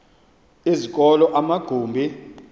ezi zikolo amagumbi